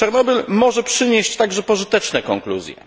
Czarnobyl może przynieść także pożyteczne konkluzje.